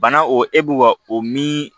Bana o e b'u ka o min